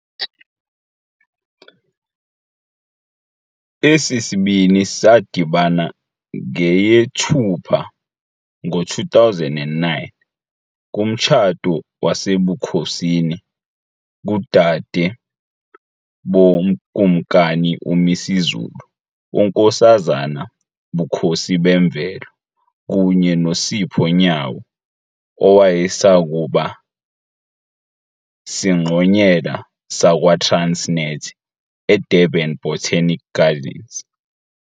Esi sibini sadibana ngeyeThupha ngo-2009 kumtshato wasebukhosini kudade boKumkani uMisuzulu, uNkosazana Bukhosibemvelo kunye noSipho Nyawo owayesakuba singqonyela sakwaTransnet, eDurban Botanic Gardens.